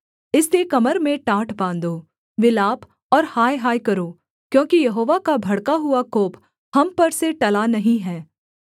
इसलिए कमर में टाट बाँधो विलाप और हायहाय करो क्योंकि यहोवा का भड़का हुआ कोप हम पर से टला नहीं है